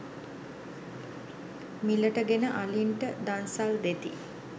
මිලට ගෙන අලින්ට දන්සල් දෙති.